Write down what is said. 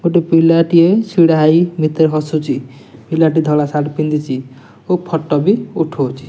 ଗୋଟେ ପିଲାଟିଏ ଛିଡାହୋଇ ମିତେ ହସୁଛି ପିଲାଟି ଧଳା ସାର୍ଟ ପିନ୍ଧିଛି ଓ ଫଟୋ ବି ଉଠଉଛି।